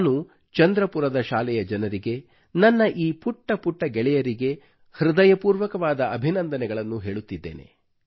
ನಾನು ಚಂದ್ರಪುರದ ಶಾಲೆಯ ಜನರಿಗೆ ನನ್ನ ಈ ಪುಟ್ಟ ಪುಟ್ಟ ಗೆಳೆಯರಿಗೆ ಹೃದಯಪೂರ್ವಕವಾದ ಅಭಿನಂದನೆಗಳನ್ನು ಹೇಳುತ್ತಿದ್ದೇನೆ